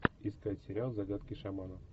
искать сериал загадки шамана